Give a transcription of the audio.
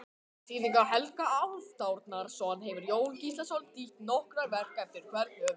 Auk þýðinga Helga Hálfdanarsonar hefur Jón Gíslason þýtt nokkur verk eftir hvern höfund.